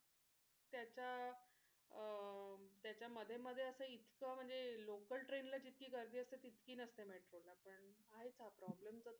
त्याच्या अह त्याच्या मध्ये मध्ये असं इतकं म्हणजे local train ला जितकी गर्दी असते तितकी नसते मेट्रो ला पण आहेच हा problem